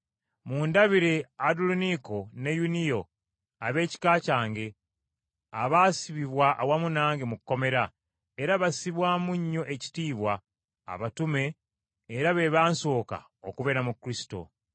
Mundabire Anduloniiko ne Yuniya ab’ekika kyange, abaasibibwa awamu nange mu kkomera, era bassibwamu nnyo ekitiibwa abatume era be bansooka okubeera mu Kristo.